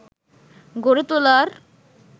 গড়ে তোলার